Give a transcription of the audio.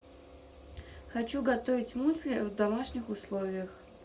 хочу готовить мюсли в домашних условиях